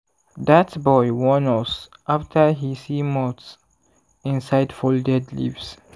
dat boy warn us after he see moths inside folded leaves.